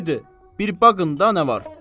Haydı, bir baqın da nə var!